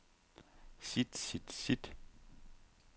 sit sit sit